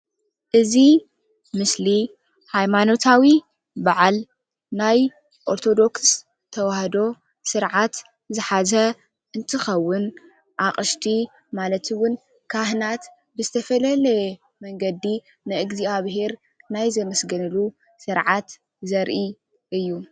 እዚ ምስሊ ሃይማኖታዊ በዓል ናይ ኦርተዶክስ ተዋህዶ ስርዓት ዝሓዘ እንትከዉን ኣቅሽቲ ማለት እዉን ካህናት ብዝተፈላለየ መንገዲ ንእግዝኣብሄር ናይ ዘመስግንሉ ስርዓት ዘርኢ እዩ።